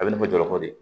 A bɛ na jɔrɔ ko de